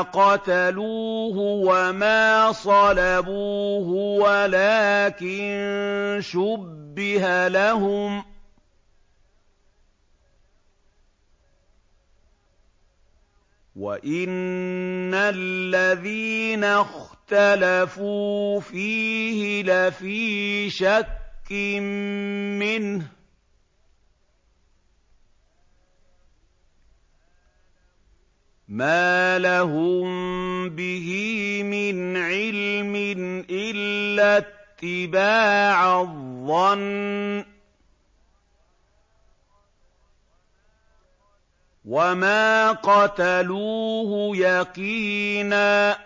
قَتَلُوهُ وَمَا صَلَبُوهُ وَلَٰكِن شُبِّهَ لَهُمْ ۚ وَإِنَّ الَّذِينَ اخْتَلَفُوا فِيهِ لَفِي شَكٍّ مِّنْهُ ۚ مَا لَهُم بِهِ مِنْ عِلْمٍ إِلَّا اتِّبَاعَ الظَّنِّ ۚ وَمَا قَتَلُوهُ يَقِينًا